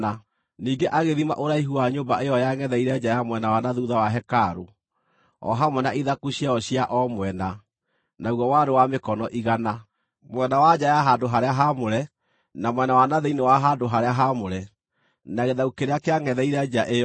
Ningĩ agĩthima ũraihu wa nyũmba ĩyo yangʼetheire nja ya mwena wa na thuutha wa hekarũ, o hamwe na ithaku ciayo cia o mwena; naguo warĩ wa mĩkono igana. Mwena wa nja ya handũ-harĩa-haamũre, na mwena wa na thĩinĩ wa handũ-harĩa-haamũre, na gĩthaku kĩrĩa kĩangʼetheire nja ĩyo,